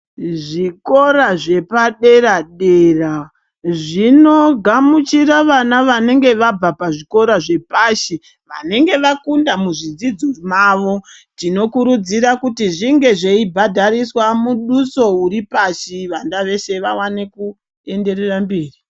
Zvikora zvepadera dera zvinogamuchira vana vanenge vabva pazvikora zvepashi vanenge vakunda muzvidzidzo mavo tinokurudzira kuti zvinge zveibhadhariswa muduso uripashi vana veshe vawane kuenderera mberi.